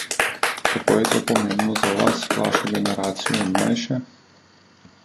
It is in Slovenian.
Kako je to pomembno za vas, vašo generacijo in mlajše?